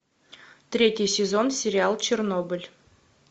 третий сезон сериал чернобыль